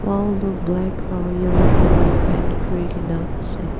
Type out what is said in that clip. wall tu black aru yellow colour para paint kuri ke na ase.